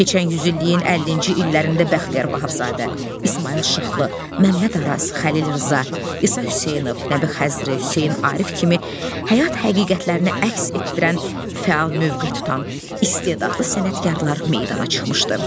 Keçən yüzilliyin 50-ci illərində Bəxtiyar Vahabzadə, İsmayıl Şıxlı, Məmməd Araz, Xəlil Rza, İsa Hüseynov, Nəbi Xəzri, Hüseyn Arif kimi həyat həqiqətlərini əks etdirən fəal mövqe tutan istedadlı sənətkarlar meydana çıxmışdı.